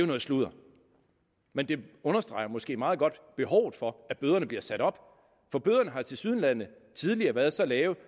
noget sludder men det understreger måske meget godt behovet for at bøderne bliver sat op for bøderne har tilsyneladende tidligere været så lave